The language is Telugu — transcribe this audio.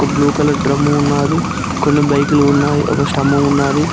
బ్లూ కలర్ డ్రమ్ము ఉన్నది కొన్ని బైకులు ఉన్నాయి ఒక స్తంభం ఉన్నది.